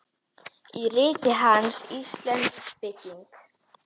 Í riti hans, Íslensk bygging